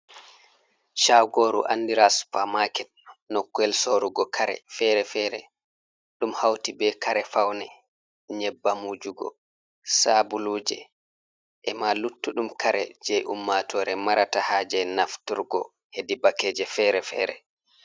Shagoru andira supermaket nokkuyel sorugo kare fere-fere ɗum hauti be kare faune, nyebbam wujugo, sabuluje, ema luttuɗum kare je ummatore marata haaje nafturgo hedi bakeje fere-fere.